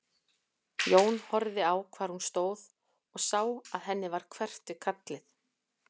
Jón horfði á hvar hún stóð og sá að henni varð hverft við kallið.